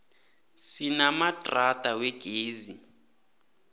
sinamadrada wegezi